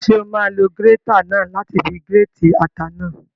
Ṣé o máa lo gírétà náà láti fi gírètì ata náà?